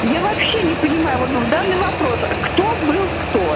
я вообще не понимаю вот в данный вопрос кто был кто